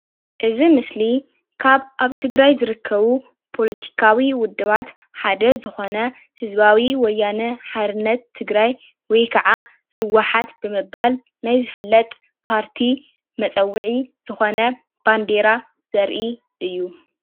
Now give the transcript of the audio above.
እዚ ምስሊ ካብ ኣብ ትግራይ ዝርከቡ ፖለቲካዊ ውድባት ሓደ ዝኮነ ህዝባዊ ወያነ ሓርነት ትግራይ ወይ ክዓ ህውሓት ብምባል ናይ ዝፍለጥ ፓርቲ መፀውዒ ዝኮነ ባንዴራ ዘርኢ እዩ፡፡